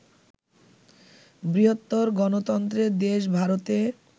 বৃহত্তর গণতন্ত্রের দেশ ভারতে